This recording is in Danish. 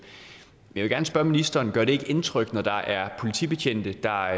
men gerne spørge ministeren gør det ikke indtryk når der er politibetjente der